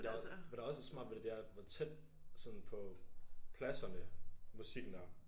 Der hvad der også er smart ved det det er hvor tæt sådan på pladserne musikken er